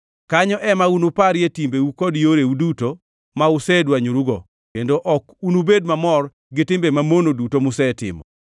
Kanyo ema unuparie timbeu kod yoreu duto ma usedwanyorugo, kendo ok unubed mamor gi timbe mamono duto musetimo.